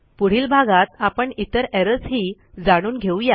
पुढील भागात आपण इतर एरर्स ही जाणून घेऊ या